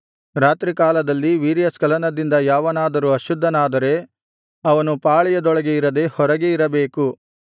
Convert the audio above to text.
ರಾತ್ರಿಕಾಲದಲ್ಲಿ ವೀರ್ಯಸ್ಖಲನದಿಂದ ಯಾವನಾದರೂ ಅಶುದ್ಧನಾದರೆ ಅವನು ಪಾಳೆಯದೊಳಗೆ ಇರದೆ ಹೊರಗೆ ಇರಬೇಕು